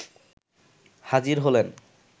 হাজির হলেন